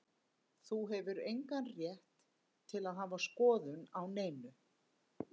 Þú hefur engan rétt til að hafa skoðun á neinu.